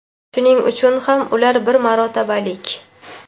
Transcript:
Shuning uchun ham ular bir marotabalik.